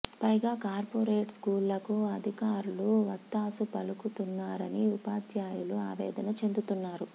పైగా కార్పొరేట్ స్కూళ్ళకు అధికారులు వత్తాసు పలుకుతున్నారని ఉపాధ్యాయులు ఆవేదన చెందుతున్నారు